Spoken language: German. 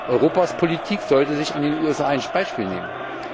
Europas Politik sollte sich an den USA ein Beispiel nehmen.